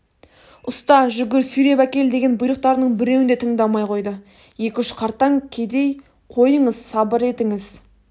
ұста жүгір сүйреп әкел деген бұйрықтарының біреуін де тыңдамай қойды екі-үш қартаң кедей қойыңыз сабыр етіңіз